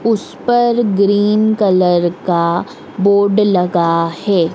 उस पर green colour का बोर्ड लगा है।